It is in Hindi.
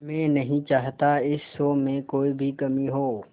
मैं नहीं चाहता इस शो में कोई भी कमी हो